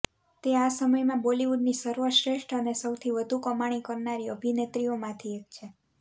તે આ સમયમાં બોલિવૂડની સર્વશ્રેષ્ઠ અને સૌથી વધુ કમાણી કરનારી અભિનેત્રીઓ માંથી એક છે